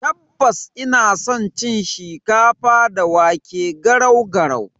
Tabbas, ina san cin shikafa da wake (garau garau).